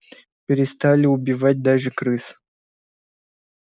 перестали убивать даже крыс